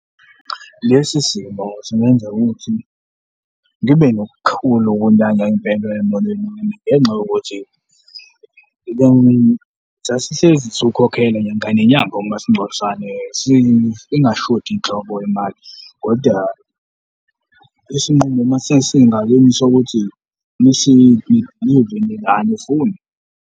Lesi simo singenza ukuthi ngibe nokukhulu ukunyanya impela emoyeni wami ngenxa yokuthi sasihlezi siwukhokhela ngenyanga umasingcwabisane, ingashodi nhlobo imali kodwa isinqumo mase singakimi sokuthi angifuni.